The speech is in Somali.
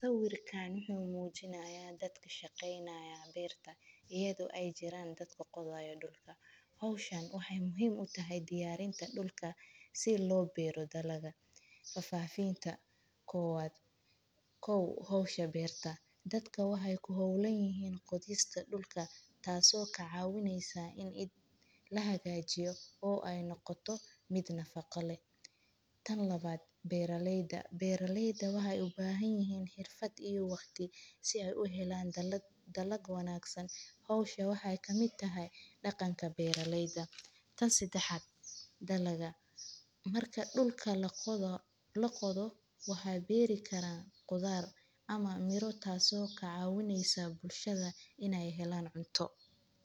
Sawirkan wuxuu muujinayaa dadka shaqaynaya beerta iyadoo ay jiraan dadka qodaya dhulka. Hawshaan waxay muhim u tahay diyaarinta dhulka si loo biro dalaga. fafaafinta koowaad. Kow hawsha beerta. Dadka waxay ku howlan yahiin qodis ka dhulka taasoo ka caawineysaa in id la hagaajiyo oo ay noqoto mid nafaqo leh. Tan labaad: Beeralayda. Beeralayda waxay u baahan yahiin xirfad iyo waqti si ay u helaan dalag. Dalag wanaagsan hawsha waxay ka midaahay dhaqanka beeralayda. Tan sidaxad: Dalaga. Marka dhulka la qodo la qodo waxaa berri karaa qudaar ama miro taasoo ka caawineysa bulshada in ay helaan cunto.